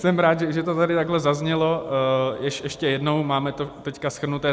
Jsem rád, že to tady takhle zaznělo ještě jednou, máme to teď shrnuté.